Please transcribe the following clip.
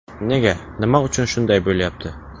Nega, nima uchun shunday bo‘lyapti?